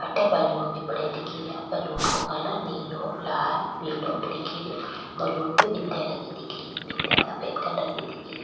अठे बलून भी पड्यो दिखे रिया बलून को कलर नीलो लाल पिलो दिखे रेहो बलून पे बिंदिया लगी दिखे री बिंदिया सफ़ेद कलर की दिखे री।